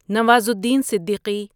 Nawazuddin Siddiqui